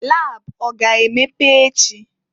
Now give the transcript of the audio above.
Lab a ga-emepe echi?